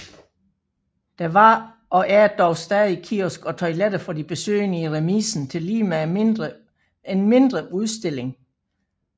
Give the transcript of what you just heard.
Der var og er dog stadig kiosk og toiletter for de besøgende i remisen tillige med en mindre udstilling